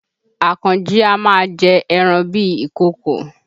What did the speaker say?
Àkànjí a máa jẹ ẹran bíi ìkokò